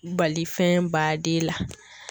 Bali fɛn baden la.